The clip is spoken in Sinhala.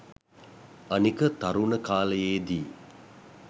අනික තරුණ කාලයේදී